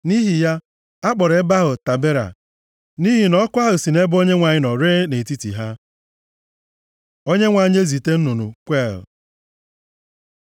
Nʼihi ya, a kpọrọ ebe ahụ Tabera, nʼihi ọkụ ahụ si nʼebe Onyenwe anyị nọ ree nʼetiti ha. Onyenwe anyị ezite nnụnụ kweel